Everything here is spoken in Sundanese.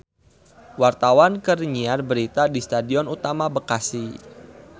Wartawan keur nyiar berita di Stadion Utama Bekasi